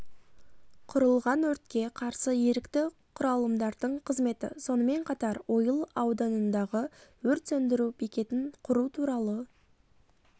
құрылған өртке қарсы ерікті құралымдардың қызметі сонымен қатар ойыл ауданындағы өрт сөндіру бекетін құру туралы